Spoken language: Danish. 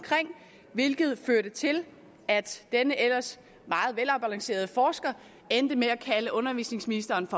hvilket førte til at denne ellers meget velafbalancerede forsker endte med at kalde undervisningsministeren